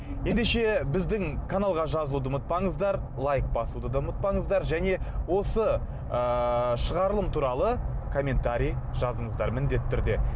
ендеше біздің каналға жазылуды ұмытпаңыздар лайк басуды да ұмытпаңыздар және осы ыыы шығарылым туралы комментарий жазыңыздар міндетті түрде